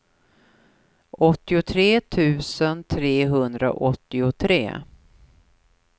åttiotre tusen trehundraåttiotre